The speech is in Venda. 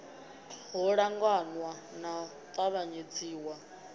ho ṱangaṋwa na u tavhanyedziswa